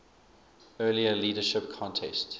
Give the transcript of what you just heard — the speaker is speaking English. earlier leadership contest